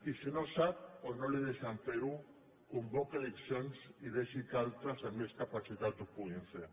i si no en sap o no li deixen fer ho convoqui eleccions i deixi que altres amb més capacitat ho puguin fer